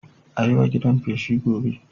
A yi wa gidan feshi gobe